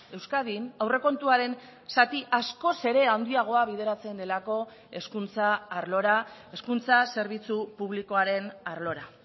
euskadin aurrekontuaren zati askoz ere handiagoa bideratzen delako hezkuntza arlora hezkuntza zerbitzu publikoaren arlora